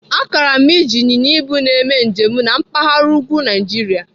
Agara m eji ịnyịnya ibu m eme njem na mpaghara úgwú Naijiria.